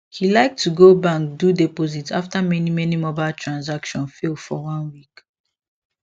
he like to go bank do deposit after many many mobile transaction fail for one week